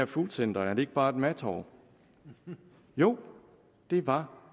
foodcenter er det ikke bare et madtorv jo det var